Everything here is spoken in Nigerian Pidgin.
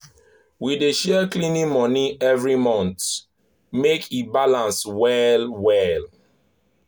we dey share cleaning money every month make e balance well-well.